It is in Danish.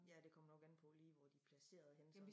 Ja det kommer nok an på lige hvor de er palceret henne så